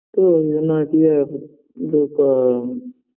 তো ওই যনো আর কী